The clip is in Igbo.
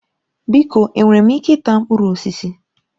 Biko enwere m ike ịta mkpụrụ osisi?